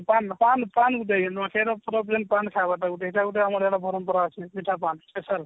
ସେଟ ପୁରା ଜେନ୍ତା ସେଇଟା ଗୋଟେ ଆମର ବରଂହପୁର ପିଠା ପାନ special